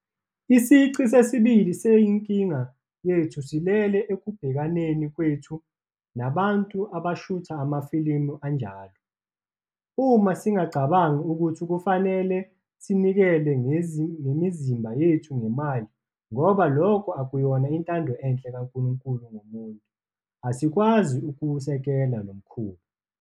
Isici sesibili senkinga yethu silele ekubhekaneni kwethu nabantu abashutha amafilimu anjalo. Uma singacabangi ukuthi kufanele sinikele ngemizimba yethu ngemali, ngoba lokho akuyona intando enhle kaNkulunkulu ngomuntu, asikwazi ukuwusekela lo mkhuba.